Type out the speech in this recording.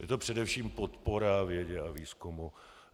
Je to především podpora vědě a výzkumu.